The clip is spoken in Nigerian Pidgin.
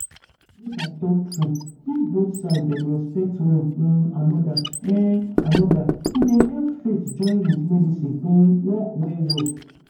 make i talk true if both side dem respect one um anoda um anoda e dey help faith join with medicine um work well well.